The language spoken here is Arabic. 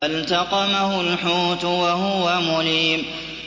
فَالْتَقَمَهُ الْحُوتُ وَهُوَ مُلِيمٌ